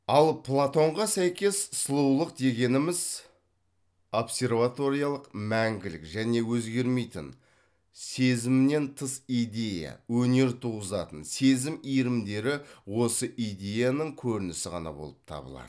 ал платонға сәйкес сұлулық дегеніміз абсерваториялық мәңгілік және өзгермейтін сезімнен тыс идея өнер туғызатын сезім иірімдері осы идеяның көрінісі ғана болып табылады